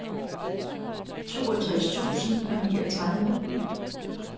toogtres tusind og niogtredive